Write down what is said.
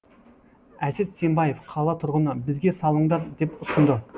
әсет сембаев қала тұрғыны бізге салыңдар деп ұсынды